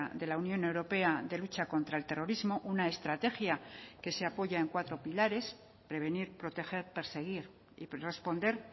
de la unión europea de lucha contra el terrorismo una estrategia que se apoya en cuatro pilares prevenir proteger perseguir y responder